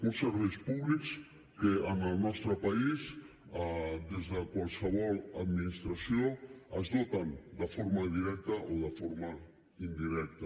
uns serveis públics que en el nostre país des de qualsevol administració es doten de forma directa o de forma indirecta